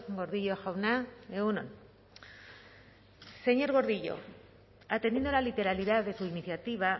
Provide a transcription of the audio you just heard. gordillo jauna egun on señor gordillo atendiendo a la literalidad de su iniciativa